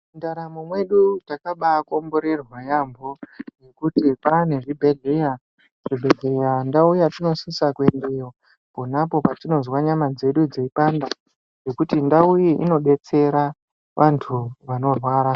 Ndaramo yedu takabakomborerwa yambo ngekuti pane zvibhedhlera ndau yatinosisa kuendayo patinonzwa nyama dzedu dzeipanda ngekuti ndau iyi inodetsera vantu ava.